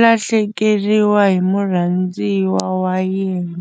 lahlekeriwa hi murhandziwa wa yena.